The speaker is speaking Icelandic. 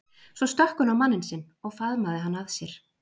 Svo stökk hún á manninn sinn og faðmaði hann að sér.